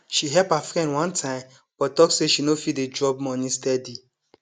she help her friend one time but talk say she no fit dey drop money steady